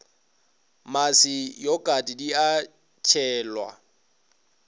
mmase yokate di ka tšhelwa